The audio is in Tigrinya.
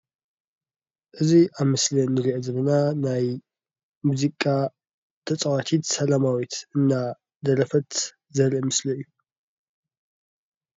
እዚ ኣብ ምስሊ እንሪኦ ዘለና ናይ ሙዚቃ ተፃዋቲት ሰለማዊት እናደረፍት ዘርኢ ምስሊ እዩ።